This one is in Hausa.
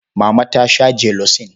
Mama ta sha jelosin.